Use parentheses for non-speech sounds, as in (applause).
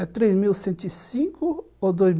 Aí ele falou, é três mil cento e cinco ou dois (unintelligible)